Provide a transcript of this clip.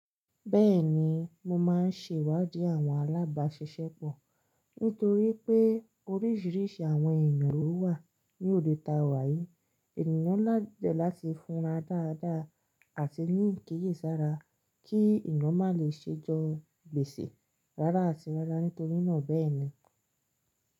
Bẹ́ẹ̀ni mo máa ń ṣèwádìí àwọn alábàáṣiṣẹ́pọ̀ nítorí pé oríṣiríṣi àwọn ènìyàn ló wà ní òde taa wa yìí. Ènìyàn lá dẹ̀ láti fúnra dáadáa àti ní ikiyèsára kí eeyan má lè ṣẹ́ jọ́ gbèsè rárá àti rárá nítorí náà bẹ́ẹ̀ni.